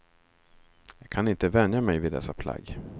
Jag kan inte vänja mig vid dessa plagg.